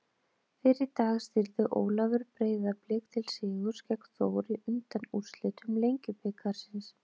Fyrr í dag stýrði Ólafur Breiðablik til sigurs gegn Þór í undanúrslitum Lengjubikarsins.